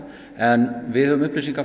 en við höfum upplýsingar